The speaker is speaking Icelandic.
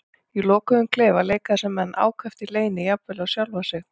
Í lokuðum klefum leika þessir menn ákaft í leyni, jafnvel á sjálfa sig.